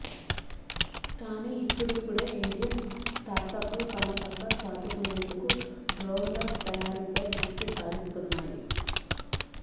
కానీ ఇప్పుడిప్పుడే ఇండియన్ స్టార్టప్లు తమ సత్తా చాటుకునేందుకు డ్రోన్ల తయారీపై దృష్టి సారిస్తున్నాయి